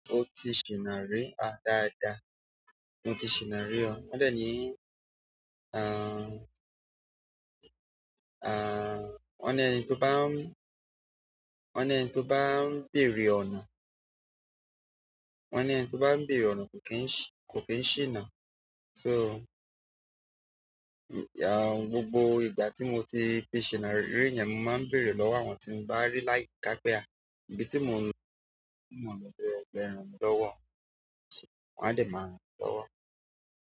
Moti ṣìná ríi, ah dada moti ṣìná ríi o wọ́n de ni ahn, wọ́n ní ẹni tó bá ń, wọ́n ní ẹni tó bá ń béèrè ọ̀nà, wọ́n ní ẹni tó bá ń béèrè ọ̀nà kò kí ń ṣì, kò kí n ṣìná. Sọ, ahn, gbogbo ìgbà tí mo tí fi ṣìná rí yẹn mo máa ń béèrè lọ́wọ́ àwọn tí mo bá rí láyiká pé ah àbí tí mo wá sope pé ẹ ràn mi lọ́wọ́, wọ́n a dee má ràn mi lọ́wọ́.